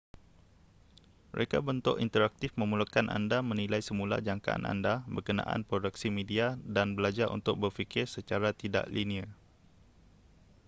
reka bentuk interaktif memerlukan anda menilai semula jangkaan anda berkenaan produksi media dan belajar untuk berfikir secara tidak linear